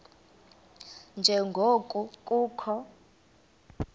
nje ngoko kukho